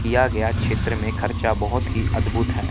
किया गया क्षेत्र में खर्चा बहुत ही अद्भुत है।